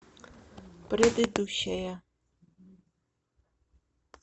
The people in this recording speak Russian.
предыдущая